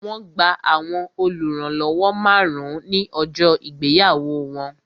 Wọn gba àwọn oluranlowo márùn-ún ní ọjọ́ ìgbéyàwó wọn